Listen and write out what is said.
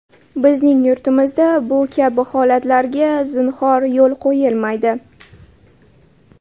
Bizning yurtimizda bu kabi holatlarga zinhor yo‘l qo‘yilmaydi.